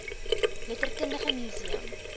letterkundige mu seum